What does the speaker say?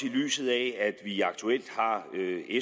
i lyset af at vi aktuelt har